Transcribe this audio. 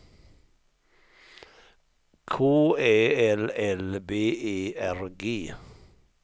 K Ä L L B E R G